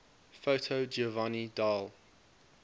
foto giovanni dall